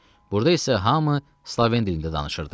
Burda isə hamı sloven dilində danışırdı.